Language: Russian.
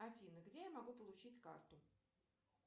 афина где я могу получить карту